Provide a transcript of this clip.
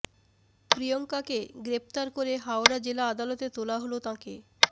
প্রিয়ঙ্কাকে গ্রেফতার করে হাওড়া জেলা আদালতে তোলা হলে তাঁকে